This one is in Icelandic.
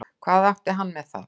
Hvað átti hann með það?